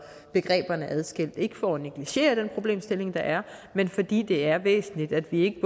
begreberne adskilt ikke for at negligere den problemstilling der er men fordi det er væsentligt at vi